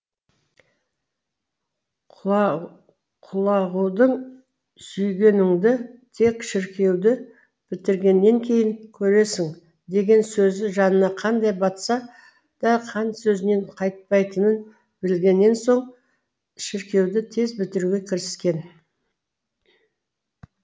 құлағудың сүйгеніңді тек шіркеуді бітіргеннен кейін көресің деген сөзі жанына қандай батса да хан сөзінен қайтпайтынын білгеннен соң шіркеуді тез бітіруге кіріскен